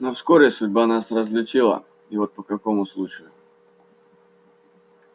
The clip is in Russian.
но вскоре судьба нас разлучила и вот по какому случаю